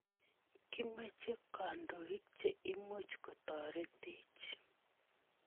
Kimoche kandoik che imuch kotoretech.